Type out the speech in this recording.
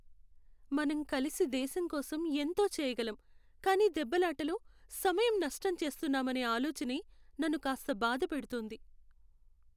మనం కలిసి దేశంకోసం ఎంతో చెయ్యగలం కానీ దెబ్బలాటలో, సమయం నష్టం చేస్తున్నామనే ఆలోచనే నన్ను కాస్త బాధ పెడుతోంది.